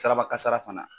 Siraba kasara fana